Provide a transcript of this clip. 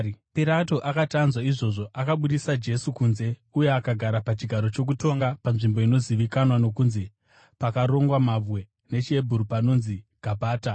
Pirato akati anzwa izvozvo, akabudisa Jesu kunze uye akagara pachigaro chokutonga panzvimbo inozivikanwa nokunzi: Pakarongwa Mabwe (nechiHebheru pachinzi Gabhata).